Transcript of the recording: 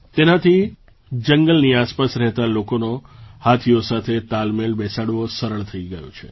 તેનાથી જંગલની આસપાસ રહેતા લોકોનો હાથીઓ સાથે તાલમેળ બેસાડવો સરળ થઈ ગયો છે